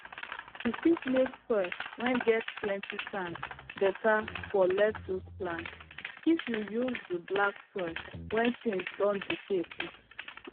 you fit make soil whey get plenty sand better for lettuce plant it you use the black soil whey things don decay put